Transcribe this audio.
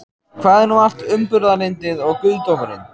Hvar er nú allt umburðarlyndið og guðdómurinn?